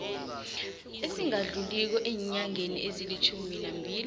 esingadluliko eenyangeni ezilitjhuminambili